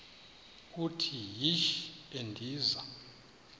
uthi yishi endiza